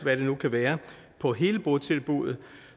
hvad det nu kan være på hele botilbuddet